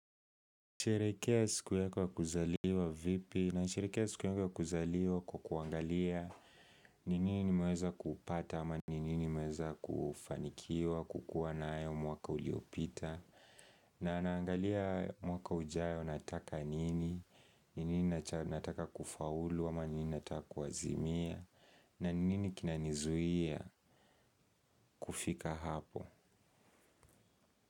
Sherehekea siku yako wa kuzaliwa vipi na sheherekea siku yangu ya kuzaliwa kwa kuangalia ni nini nimeweza kupata ama ni nini nimeweza kufanikiwa kukuwa nayo mwaka uliopita na naangalia mwaka ujao nataka nini, ni nini nataka kufaulu ama ni nini nataka kuazimia na ni nini kinanizuia kufika hapo.